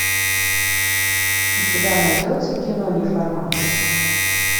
у тебя найдется кино неформат